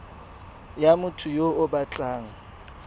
ya motho yo o batlang